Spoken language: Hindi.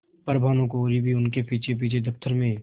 पर भानुकुँवरि भी उनके पीछेपीछे दफ्तर में